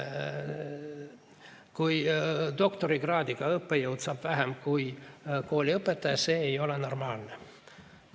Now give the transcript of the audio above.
Kui doktorikraadiga õppejõud saab vähem kui kooliõpetaja, siis see ei ole normaalne.